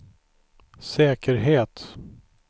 säkerhet